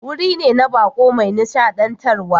Wuri ne na baƙo mai nishadantarwa.